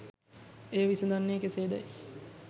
එය විසඳන්නේ කෙසේදැයි